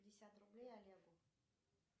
пятьдесят рублей олегу